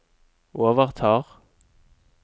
overtar